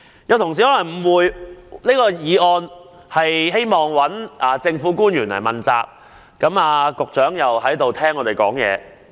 有議員可能誤會這項議案旨在向政府官員問責；局長也在席上聽我們發言。